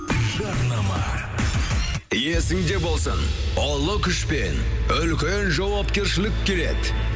жарнама есіңде болсын ұлы күшпен үлкен жауапкершілік келеді